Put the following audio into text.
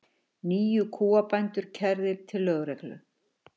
Níu kúabændur kærðir til lögreglu